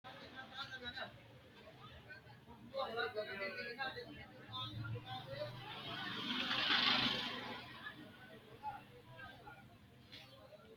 Jajjabu keere haa’ranni gobbaanni Mitturichira, mittu manchira woy manchora taxxi yaannohu mayraati? Mannu mimmitu hedo xaadanno Lawishsha yannara maa assa hasiissannonsa?